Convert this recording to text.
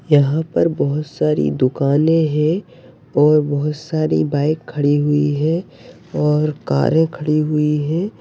यहाँ पर बहुत सारी दुकाने हैं और बहुत सारी बाइक खड़ी हुई हैं और कारे खड़ी हुई हैं।